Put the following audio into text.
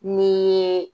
Ni